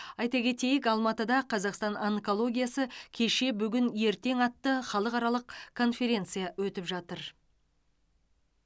айта кетейік алматыда қазақстан онкологиясы кеше бүгін ертең атты халықаралық конференция өтіп жатыр